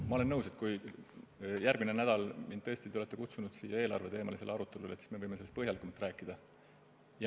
Ma olen nõus, et kuna te tõesti olete mind järgmiseks nädalaks siia eelarveteemalisele arutelule kutsunud, siis võime sellest põhjalikumalt rääkida.